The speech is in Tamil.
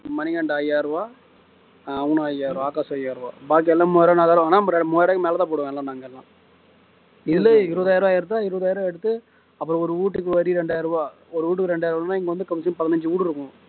மணிகண்ட ஐயாயிரம் ரூபா அவனும் ஐயாயிரம் ரூபா ஆகாஷும் ஐயாயிரம் பாக்கி எல்லாரும் மூவாயிரம் நாலாயிரம் வாங்குனா மூவாயிரம் ரூபாய்க்கு மேல தான் போடுவோம் எல்லாம் நாங்க எல்லாம் இல்ல இருபதாயிரம் ரூபா ஆயிடுதா இருபதாயிரம் ரூபா எடுத்து அப்புறம் ஒரு வீட்டுக்கு வரி இரண்டாயிரம் ரூபாய் ஒரு வீட்டுக்கு ரெண்டாயிரம் ரூபாய்னா இங்கே வந்து குறைஞ்சது பதினைஞ்சு வீடு இருக்கும்